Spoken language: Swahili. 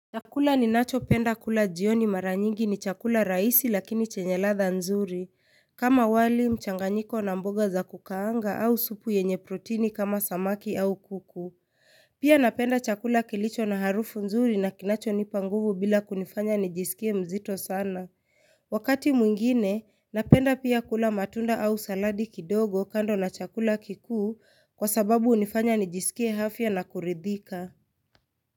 Chakula ninacho penda kula jioni maranyingi ni chakula raisi lakini chenyeladha nzuri, kama wali mchanganyiko na mboga za kukaanga au supu yenye protini kama samaki au kuku. Pia napenda chakula kilicho na harufu nzuri na kinacho nipanguvu bila kunifanya nijisikie mzito sana. Wakati mwingine, napenda pia kula matunda au saladi kidogo kando na chakula kikuu kwa sababu hunifanya nijisikie hafya na kuridhika.